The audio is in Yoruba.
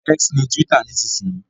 X ni túwítà nísinsìnyí